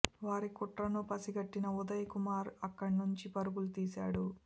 వారి కుట్రను పసిగట్టిన ఉదయ్ కుమార్ అక్కడి నుంచి పరుగు తీశాడు